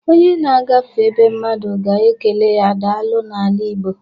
Onye na-agafe be mmadụ ga-ekele ya daalụ n'ala Igbọ.